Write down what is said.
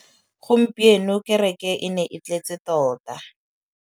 Gompieno kêrêkê e ne e tletse tota.